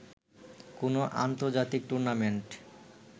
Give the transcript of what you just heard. কোন আন্তর্জাতিক টুর্নামেন্ট